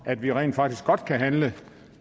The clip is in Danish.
at vi rent faktisk godt kan handle